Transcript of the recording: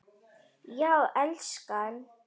Já, elskan?